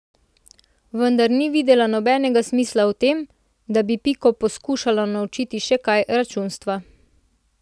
Vendar ni videla nobenega smisla v tem, da bi Piko poskušala naučiti še kaj računstva.